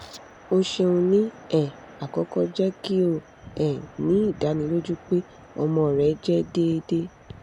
o ṣeun ni um akọkọ jẹ ki o um ni idaniloju pe ọmọ rẹ jẹ deede